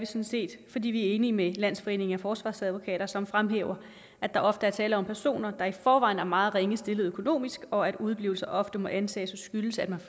set fordi vi er enige med landsforeningen af forsvarsadvokater som fremhæver at der ofte er tale om personer der i forvejen er meget ringe stillet økonomisk og at udeblivelse ofte må antages at skyldes at man